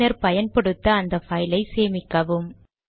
பின்னர் பயன்படுத்த அந்த பைல் ஐ சேமிக்கவும்